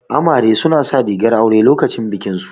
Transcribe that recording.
Amare su na sa rigar aure lokacin bikin su